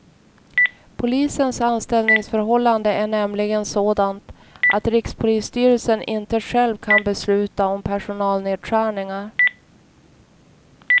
Polisens anställningsförhållande är nämligen sådant att rikspolisstyrelsen inte själv kan besluta om personalnedskärningar.